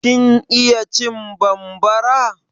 Kin iya cin bambara?